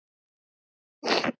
Hana rekur aldrei að landi.